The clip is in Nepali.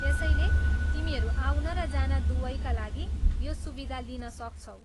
त्यसैले तिमीहरू आउन र जान दुवैका लागि यो सुविधा लिन सक्छौ।